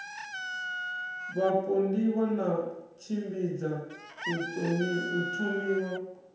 vhapondiwa i tshimbidza u thomiwa